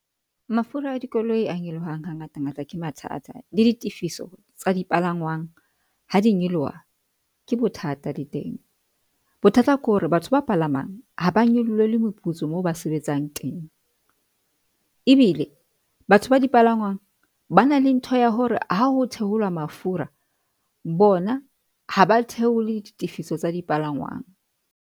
Mafura a dikoloi a nyolohang ha ngata ngata ke mathata le ditefiso tsa dipalangwang ha di nyoloha ke bothata le teng. Bothata ke hore batho ba palamang ha ba nyolohelwe moputso moo ba sebetsang teng, ebile batho ba dipalangwang ba na le ntho ya hore bona ha ho theolwa mafura bona ha ba theole ditefiso tsa dipalanwang.